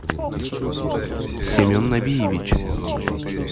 семен набиевич